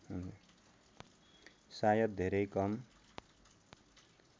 सायद धेरै कम